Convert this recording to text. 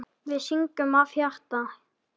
Við syngjum af hjarta.